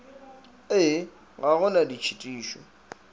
ee ga go na ditšhitišo